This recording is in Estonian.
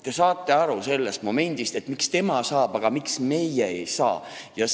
Te saate aru: miks tema saab, aga miks meie ei saa?